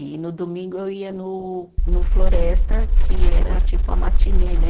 E no domingo eu ia no no Floresta, que era tipo a matinê, né?